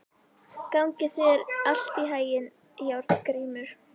Gangi þér allt í haginn, Járngrímur.